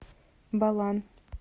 балан